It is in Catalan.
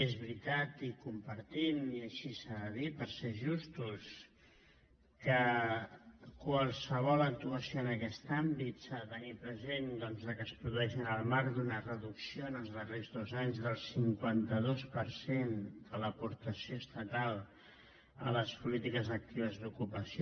és veritat i ho compartim i així s’ha de dir per ser justos que qualsevol actuació en aquest àmbit s’ha de tenir present que es produeix en el marc d’una reducció els darrers dos anys del cinquanta dos per cent de l’aportació estatal a les polítiques actives d’ocupació